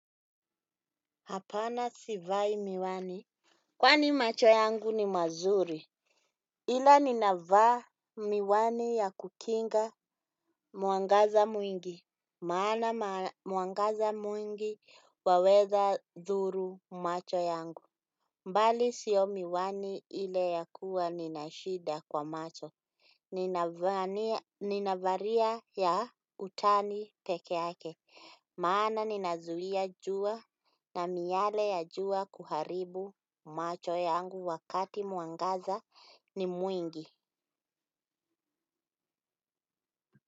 Hapana sivai miwani. Kwani macho yangu ni mazuri. Ila ninavaa miwani ya kukinga mwangaza mwingi. Maana mwangaza mwingi waweza dhuru macho yangu. Mbali sio miwani ile ya kuwa nina shida kwa macho. Ninavalia ya utani peke yake. Maana ninazuia jua na miale ya jua kuharibu macho yangu wakati mwangaza ni mwingi.